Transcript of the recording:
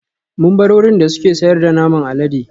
Mun bar wurin da suke sayar da naman alade